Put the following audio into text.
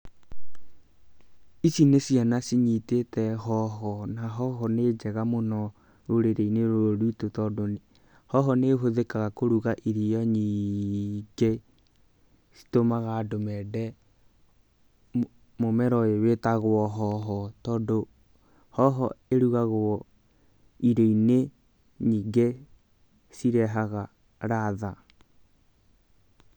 Ici nĩ ciana cinyitĩte hoho, na hoho nĩ njega mũno rũrĩrĩ-inĩ rũrũ rwitũ, tondũ hoho nĩ ĩhũthĩkaga kũruga irio nyingĩ citũmaga andũ mende mũmera ũyũ wĩtagwo hoho, tondũ hoho ĩrugagwo irio-inĩ nyingĩ cirehaga ladha.